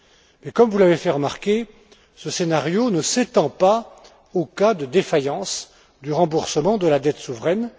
Mais comme vous l'avez fait remarquer, ce scénario ne s'étend pas aux cas de défaillance du remboursement de la dette souveraine.